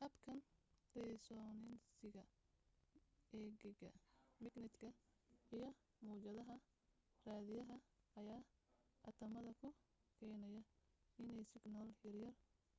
habkan risoonansiga gegiga magnatka iyo mawjadaha raadiyaha ayaa atamada ku keenaya inay signalo yaryar